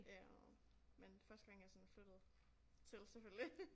Øh men første gang jeg sådan flyttede til selvfølgelig